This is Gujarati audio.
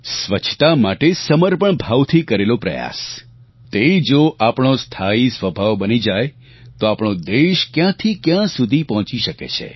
સ્વચ્છતા માટે સમર્પણભાવથી કરેલો પ્રયાસ તે જો આપણો સ્થાયી સ્વભાવ બની જાય તો આપણો દેશ ક્યાંથી ક્યાં સુધી પહોંચી શકે છે